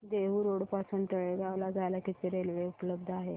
Dehu road पासून तळेगाव ला जायला किती रेल्वे उपलब्ध आहेत